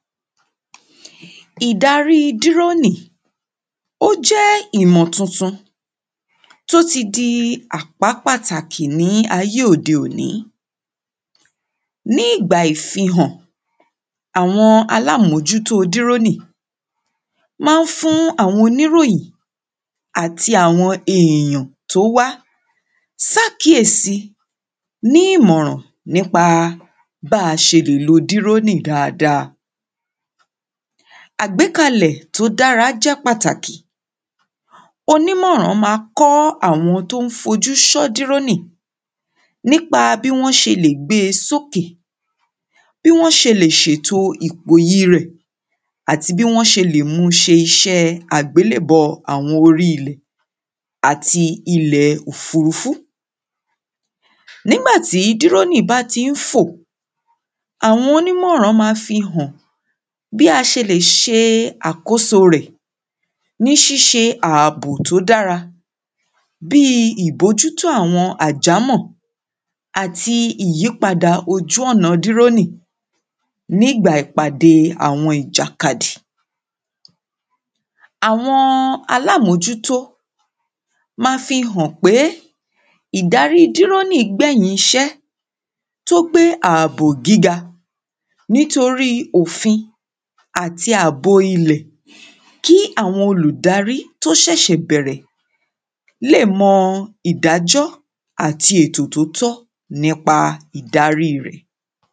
ìdarí dírònì, ó jẹ́ ìmọ̀ tuntun tó ti di àpá pàtàkí ní ayé òde òní ní ìgbà ìfihàn, àwọn aláàmójútó dírònì má ń fún àwọn oníròyìn àti àwọn èèyàn tó wá sákìési ní ìmọ̀ràn nípa báa ṣe lè lo dírónì dáadáa àgbékalẹ̀ tó dára jẹ́ pàtàkì, onímọ̀ràn máa kọ́ àwọn tó ń fojú sọ́ dírónì nípa bí wọ́n ṣe lè gbé e sóke, bí wọ́n ṣe lè ṣètò ìpòyì rẹ̀ àti bí wọ́n ṣe lè mú u ṣe iṣẹ́ àgbélèbọ́ àwọn orí ilẹ̀ àti ilẹ̀ òfurufú nígbà tí dírónì bá ti ń fò, àwọn onímọ̀ràn máa fihàn bí a ṣe lè ṣe àkóso rẹ̀ ní ṣíṣe ààbò tó dára, bíi ìbójútó àwọn àjámọ̀ àti ìyípadà ojú ọ̀nà dírónì nígbà ìpàdé àwọn ìjàkadì àwọn aláàmójútó ma fihàn pé ìdarí dírónì gbẹ̀yìn iṣẹ́ tó pé ààbò gíga nítorí òfin àti ààbò ilẹ̀ kí àwọn olùdarí tó ṣẹ̀ṣẹ̀ bẹ̀rẹ̀ lè mọ ìdájọ́ àti ètò tótọ́ nípa ìdarí rẹ̀